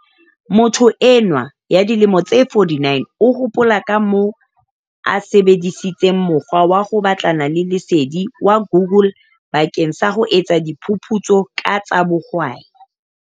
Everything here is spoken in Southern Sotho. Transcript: Motho enwa ya dilemo di 49 o hopola kamoo a sebe disitseng mokgwa wa ho batlana le lesedi wa Google bakeng sa ho etsa diphu putso ka tsa bohwai.